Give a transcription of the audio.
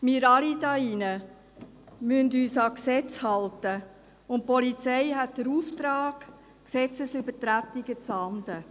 Wir alle müssen uns an Gesetze halten, und die Polizei hat den Auftrag, Gesetzesübertretungen zu ahnden.